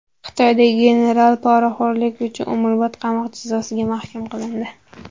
Xitoyda general poraxo‘rlik uchun umrbod qamoq jazosiga hukm qilindi.